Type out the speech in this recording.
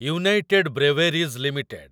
United Breweries limited